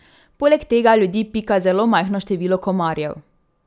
Poleg tega ljudi pika zelo majhno število komarjev.